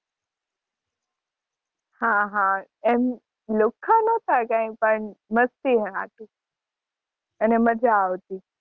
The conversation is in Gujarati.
હાં હાં એમ લુખ્ખા નતા કાઇ પણ મસ્તી નાં સાટુ, એને મજા આવતી.